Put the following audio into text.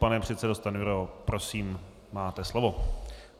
Pane předsedo Stanjuro, prosím, máte slovo.